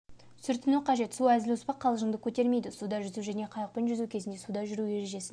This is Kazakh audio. сүртіну қажет су әзіл-оспақ қалжыңды көтермейді суда жүзу және қайықпен жүзу кезінде суда жүру ережесін